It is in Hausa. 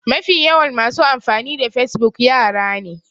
Mafi yawan masu amfani da facebook yara ne